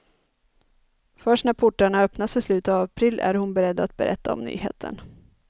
Först när portarna öppnas i slutet av april är hon beredd att berätta om nyheten.